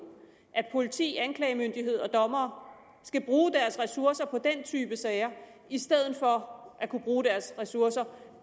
at politi anklagemyndighed og dommere skal bruge deres ressourcer på den type sager i stedet for at kunne bruge deres ressourcer